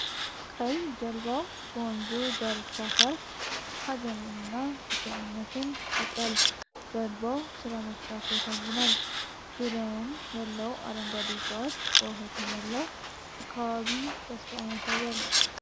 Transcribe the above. ቀይ ጀልባው በወንዙ ዳርቻ ሲያርፍ ሀዘንንና ብቸኝነትን ይፈጥራል ። ጀልባው ሥራ መፍታቱ ያሳዝናል!። ዙሪያውን ያለው አረንጓዴ ዕፅዋት በውኃ የተሞላው አካባቢ ተስፋን ያሳያል! ።